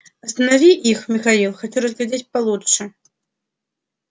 останови их михаил хочу разглядеть получше